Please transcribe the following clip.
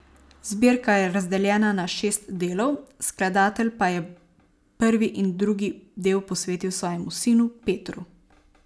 Zbirka je razdeljena na šest delov, skladatelj pa je prvi in drugi del posvetil svojemu sinu Petru.